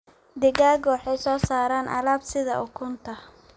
Digaagga waxay soo saaraan alaab sida ukunta.